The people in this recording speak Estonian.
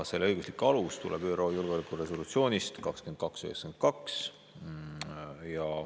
Selle õiguslik alus tuleneb ÜRO Julgeolekunõukogu resolutsioonist 2292.